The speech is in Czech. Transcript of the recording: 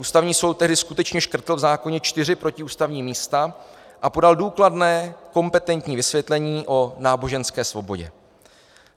Ústavní soud tehdy skutečně škrtl v zákoně čtyři protiústavní místa a podal důkladné kompetentní vysvětlení o náboženské svobodě.